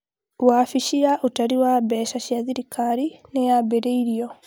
wabici ya ũtari wa mbeca cia thirikari nĩ yambĩrĩirio